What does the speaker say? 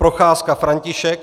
Procházka František